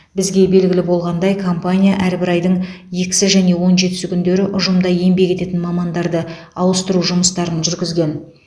бізге белгілі болғандай компания әрбір айдың екісі және он жетісі күндері ұжымда еңбек ететін мамандарды ауыстыру жұмыстарын жүргізген